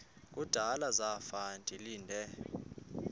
kudala zafa ndilinde